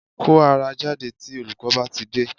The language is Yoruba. Kó ara jáde tí olùkọ́ bá tidé